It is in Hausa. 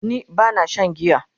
ni bana Shan giya